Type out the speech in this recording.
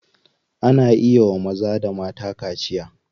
Ana iya wa maza da mata kaciya.